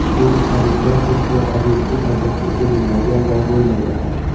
Bu hadiklar hech bir obyektiv asosga ega bo‘lmagan va bo‘lmaydi ham.